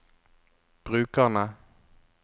brukerne